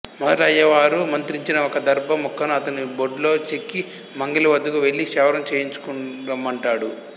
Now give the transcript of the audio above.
మొదట అయ్యవారు మత్రించిన ఒక దర్బ ముక్కను అతని బొడ్లో చెక్కి మంగలి వద్దకు వెళ్లి క్షవరం చేయించుక రమ్మంటాడు